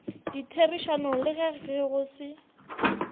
ditherišanong le ge go se